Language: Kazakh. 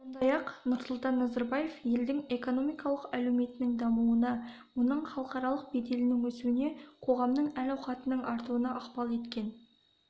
сондай-ақ нұрсұлтан назарбаев елдің экономикалық әлеуетінің дамуына оның халықаралық беделінің өсуіне қоғамның әл-ауқатының артуына ықпал еткен